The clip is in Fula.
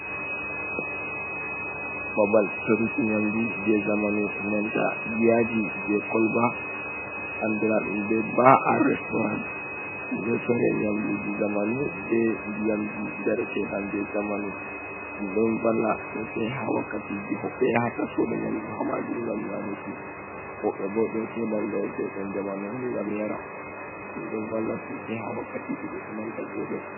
Babal soruki nyamdu je zamanu, nanta yaaji je kolba andira ɗum be ba, a reestooran. Ɗum ɗon sore nyamdu ji zamanu be ndiyanji jareteɗam je zamanu. Ɗum ɗon valla sosai ha wakkatii ji hodbee yahata soda nyamdu ha maajum ngam nyamuki. Woɗɓe bo ɗon soda njaretekon zamanu on ngam yara. Ɗum ɗon valla sasai ha wakkati ji goɗɗo nanta veelo.